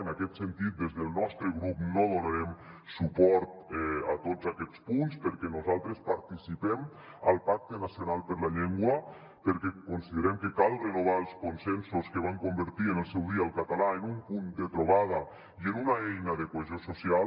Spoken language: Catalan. en aquest sentit des del nostre grup no donarem suport a tots aquests punts perquè nosaltres participem al pacte nacional per la llengua perquè consi·derem que cal renovar els consensos que van convertir en el seu dia el català en un punt de trobada i en una eina de cohesió social